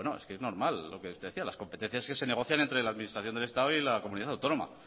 es normal lo que usted decía las competencias que se negocian entre la administración del estado y la comunidad autónoma